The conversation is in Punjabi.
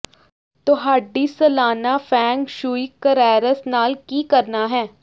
ਤੁਹਾਡੀ ਸਾਲਾਨਾ ਫੈਂਗ ਸ਼ੂਈ ਕਰੈਰਸ ਨਾਲ ਕੀ ਕਰਨਾ ਹੈ